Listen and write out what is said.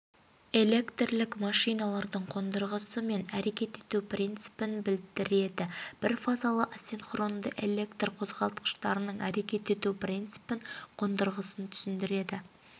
электрлік машиналардың қондырғысы мен әрекет ету принципін білдіреді бірфазалы асинхронды электрқозғалтқыштарының әрекет ету принципін қондырғысын түсіндіреді